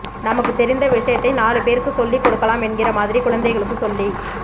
நமக்கு தெரிந்த விசயத்தை நாலுபேருக்கு சொல்லிக்கொடுக்கலாம் என்கிற மாதிரி குழந்தைகளுக்கு சொல்லிக்